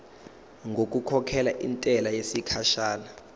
ngokukhokhela intela yesikhashana